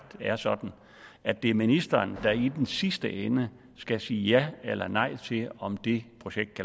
det er sådan at det er ministeren der i den sidste ende skal sige ja eller nej til om det projekt